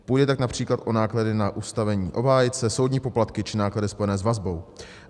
Půjde tak například o náklady na ustavení obhájce, soudní poplatky či náklady spojené s vazbou.